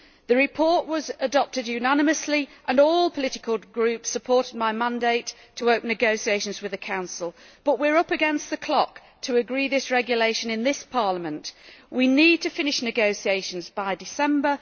The report was adopted unanimously and all political groups supported my mandate to open negotiations with the Council. But we are up against the clock to agree this regulation in this Parliament. We need to finish negotiations by December.